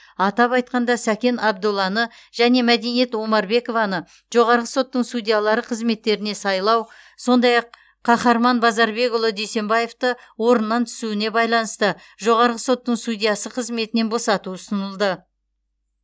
атап айтқанда сәкен абдолланы және мәдениет омарбекованы жоғарғы соттың судьялары қызметтеріне сайлау сондай ақ қахарман базарбекұлы дүйсенбаевты орнынан түсуіне байланысты жоғарғы соттың судьясы қызметінен босату ұсынылды